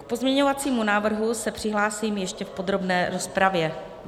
K pozměňovacímu návrhu se přihlásím ještě v podrobné rozpravě.